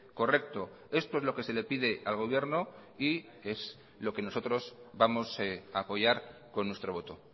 correcto esto es lo que se le pide al gobierno y es lo que nosotros vamos a apoyar con nuestro voto